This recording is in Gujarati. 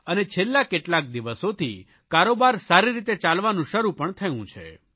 અને છેલ્લા કેટલાક દિવસોથી કારોબાર સારી રીતે ચાલવાનું શરૂ પણ થયું છે